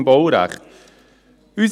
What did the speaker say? ] im Baurecht» .